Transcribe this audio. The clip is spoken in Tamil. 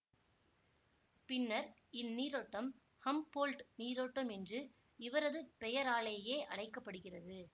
பின்னர் இந்நீரோட்டம் ஹம்போல்ட் நீரோட்டம் என்று இவரது பெயராலேயே அழைக்க படுகிறது